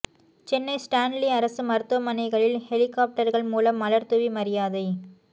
Chennai Stanley அரசு மருத்துவமனைகளில் ஹெலிகாப்டர்கள் மூலம் மலர் தூரி மரியாதை